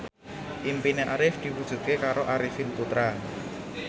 impine Arif diwujudke karo Arifin Putra